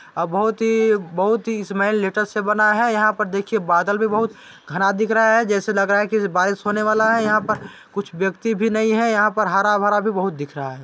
अब बहुत ही बहुत ही स्माल लेटर से बना है यहाँ पर देखिए बादल भी बहुत घना दिख रहा है जैसे लग रहा है की बारिश होने वाला है यहाँ पर कुछ व्यक्ति भी नहीं है यहाँ पर हरा भरा भी बहुत दिख रहा है।